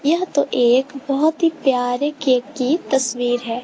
यह तो एक बहोत ही प्यारे केक की तस्वीर है।